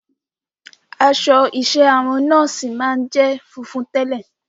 Aṣọ iṣẹ́ àwọn nọ́ọ̀sì máa ń jẹ́ funfun tẹ́lẹ̀.